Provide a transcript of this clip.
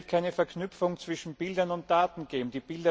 Es wird keine Verknüpfung zwischen Bildern und Daten geben.